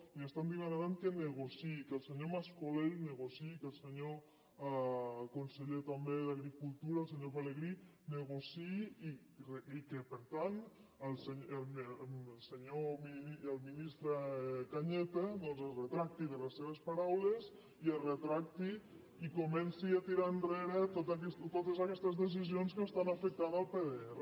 li demanen que negociï que el senyor mas colell negociï que el senyor conseller també d’agricultura el senyor pelegrí negociï i que per tant el ministre cañete doncs es retracti de les seves paraules i es retracti i comenci a tirar enrere totes aquestes decisions que afecten el pdr